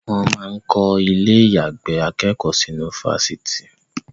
Wọ́n máa ń kọ́ ilẹ̀ àyàgbé akẹ́kọ̀ọ́ sínú ifásitì